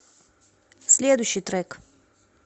следующий трек